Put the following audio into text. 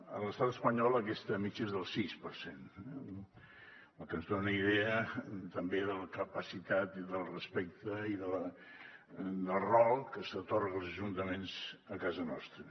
a l’estat espanyol aquesta mitjana és del sis per cent cosa que ens dona idea també de la capacitat del respecte i del rol que s’atorga als ajuntaments a casa nostra